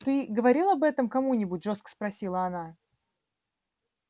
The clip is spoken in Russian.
ты говорил об этом кому-нибудь жёстко спросила она